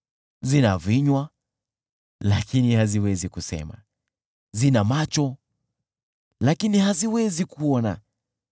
Zina vinywa, lakini haziwezi kusema, zina macho, lakini haziwezi kuona;